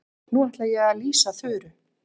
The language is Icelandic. Nú ætla ég að lýsa Þuru.